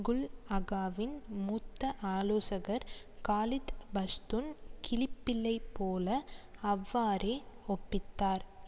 குல் அகாவின் மூத்த ஆலோசகர் காலித் பஷ்துன் கிளிப்பிள்ளை போல அவ்வாறே ஒப்பித்தார்